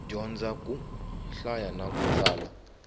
dyondza ku hlaya na ku tsala